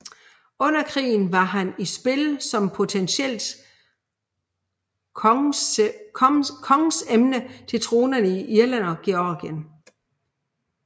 Under krigen var han i spil som potentielt kongsemne til tronerne i Irland og Georgien